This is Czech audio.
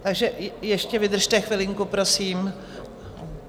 Tak ještě vydržte chvilku prosím.